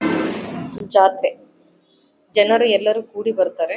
ಜಾತ್ರೆ ಜನರು ಎಲ್ಲರು ಕೂಡಿ ಬರ್ತಾರೆ.